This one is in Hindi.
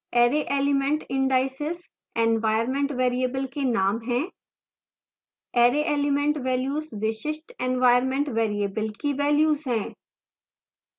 array element indices environment variable के names हैं array element वेल्यूज विशिष्ट environment variable की वेल्यूज हैं